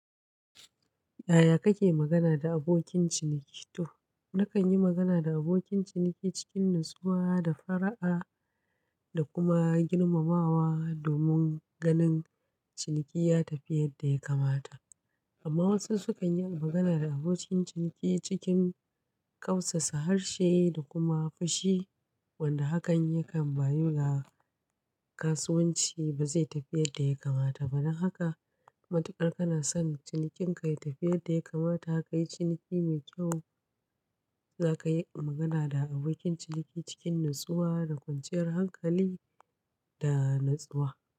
Yaya kake magana da abokin ciniki? To, na kan yi magana da abokin ciniki cikin natsuwa da fara'a, da kuma girmamawa domin ganin ciniki ya tafi yadda ya kamata. Amma wasu su kan yi magana da abokin ciniki cikin kausasa harshe da kuma fushi, wanda hakan yakan bayu ga kasuwanci ba zai tafi yadda ya kamata ba. Don haka matuƙar kana son cinikin ka ya tafi yadda ya kamata ka yi ciniki mai kyau, za ka yi magana da abokin ciniki cikin natsuwa da kwanciyar hankali da natsuwa.